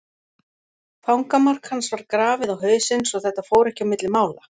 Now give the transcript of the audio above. Fangamark hans var grafið á hausinn svo þetta fór ekki á milli mála.